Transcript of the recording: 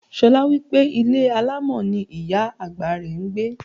Ṣolá wípé ilé alámọ̀ ni ìyá àgbà rẹ̀ ń gbé.